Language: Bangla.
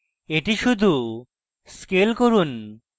এটি শুধু scale করুন